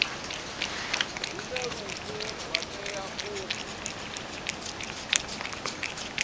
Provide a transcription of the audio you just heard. hune lufu lwa tea u